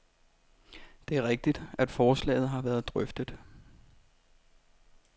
Det er rigtigt, at forslaget har været drøftet.